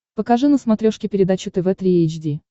покажи на смотрешке передачу тв три эйч ди